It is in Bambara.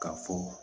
Ka fɔ